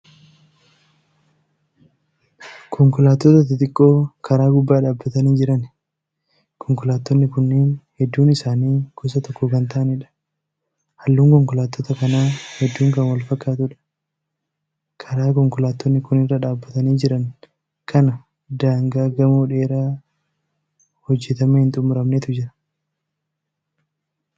Konkolaattota xixiqqoo karaa gubbaa dhaabatanii Jirani. konkolaattonni Kuni hedduun isaan gosa tokko Kan ta'aniidha. halluun konkolaattota kanaa hedduun Kan wal fakkatuudha. karaa konkolaattonni Kuni irra dhaabatanii Jiran kana daangaa gamoo dheeraa hojjatamee hin xumuramnetu jira.